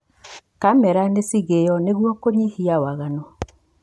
Kamera nĩ ciigĩywo nĩguo kũnyihia waganu